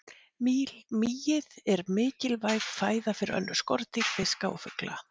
Mýið er mikilvæg fæða fyrir önnur skordýr, fiska og fugla.